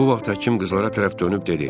Bu vaxt həkim qızlara tərəf dönüb dedi: